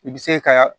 I bɛ se ka